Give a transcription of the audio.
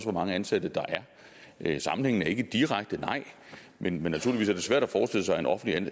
hvor mange ansatte der er sammenhængen er ikke direkte nej men naturligvis er det svært at forestille sig en offentlig